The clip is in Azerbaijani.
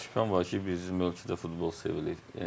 Ona bir az şübhəm var ki, bizim ölkədə futbol sevilir.